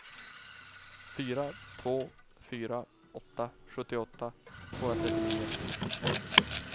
fyra två fyra åtta sjuttioåtta tvåhundratrettionio